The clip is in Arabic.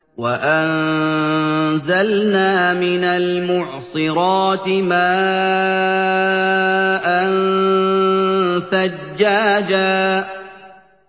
وَأَنزَلْنَا مِنَ الْمُعْصِرَاتِ مَاءً ثَجَّاجًا